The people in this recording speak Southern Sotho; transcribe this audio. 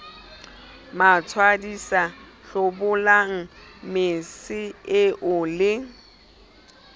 matswadisa hlobolang mese eo le